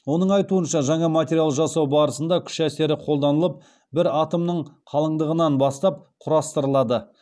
оның айтуынша жаңа материал жасау барысында күш әсері қолданылып бір атомның қалыңдығынан бастап құрастырылады